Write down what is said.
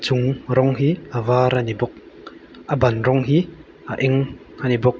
chung rawng hi a var ani bawk a ban rawng hi a eng ani bawk.